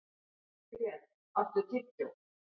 Grét, áttu tyggjó?